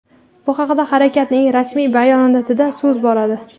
Bu haqda harakatning rasmiy bayonotida so‘z boradi.